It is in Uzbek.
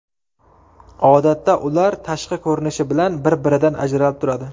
Odatda ular tashqi ko‘rinishi bilan bir-biridan ajralib turadi.